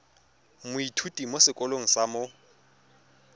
moithuti mo sekolong sa mo